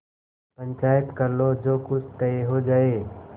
पंचायत कर लो जो कुछ तय हो जाय